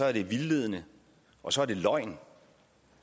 at det er vildledende og så er det løgn